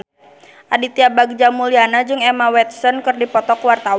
Aditya Bagja Mulyana jeung Emma Watson keur dipoto ku wartawan